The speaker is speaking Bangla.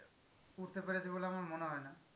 উঠতে পেরেছে বলে আমার মনে হয়ে না।